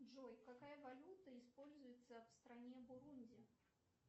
джой какая валюта используется в стране бурунди